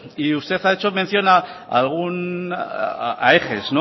y usted ha hecho mención a eges